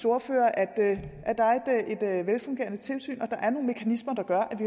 ordfører at der er et velfungerende tilsyn og at der er nogle mekanismer der gør at